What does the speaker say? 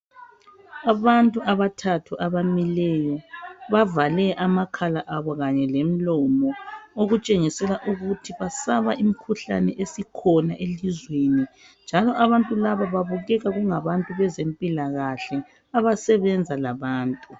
Abantu abathathu abamileyo bavale amakhala abo kanye lomlomo okutshengisa ukuthi bayesaba imikhuhlane esikhona ezweni njalo abantu laba kubukeka kungabantu bezempilakahle abasebenza labantu.